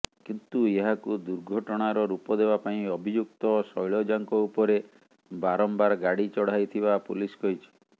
କିନ୍ତୁ ଏହାକୁ ଦୁର୍ଘଟଣାର ରୂପ ଦେବା ପାଇଁ ଅଭିଯୁକ୍ତ ଶୈଳଜାଙ୍କ ଉପରେ ବାରମ୍ବାର ଗାଡ଼ି ଚଢାଇଥିବା ପୋଲିସ କହିଛି